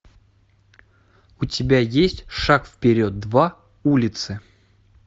у тебя есть шаг вперед два улицы